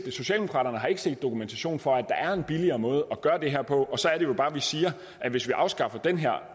og socialdemokraterne har ikke set dokumentation for at der er en billigere måde at gøre det her på og så er det jo bare vi siger at hvis vi afskaffer den her